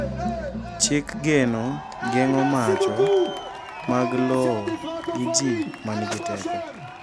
chik geno geng'o macho mag lowo gi ji ma nigi teko